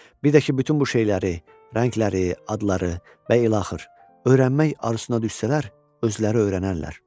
Bir də ki, bütün bu şeyləri, rəngləri, adları və ilaxır öyrənmək arzusuna düşsələr, özləri öyrənərlər.